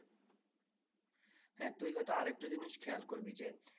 হ্যাঁ তুই হয়তো আর একটা জিনিস খেয়াল করবি যে